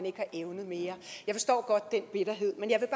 ikke evnet mere jeg forstår godt den bitterhed men jeg